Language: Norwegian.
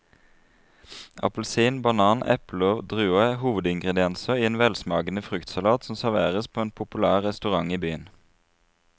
Appelsin, banan, eple og druer er hovedingredienser i en velsmakende fruktsalat som serveres på en populær restaurant i byen.